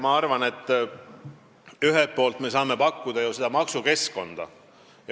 Ma arvan, et ühelt poolt me saame pakkuda ju sobivat maksukeskkonda.